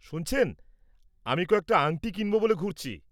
শুনছেন, আমি কয়েকটা আংটি কিনব বলে ঘুরছি।